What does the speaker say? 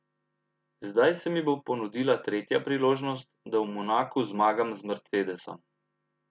Zdaj se mi bo ponudila tretja priložnost, da v Monaku zmagam z mercedesom.